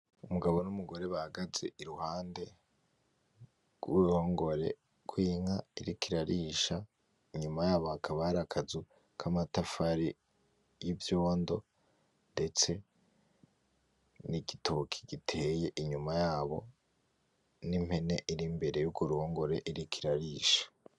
Umugabo n'umugore bahagaze iruhande gw'uruhongore gw'inka iriko irarisha inyuma yabo hakaba hari akazu k'amatafari y'ivyondo ndetse n'igitoki giteye inyuma yabo n'impene iri imbere y'urwo ruhongore iriko irarisha.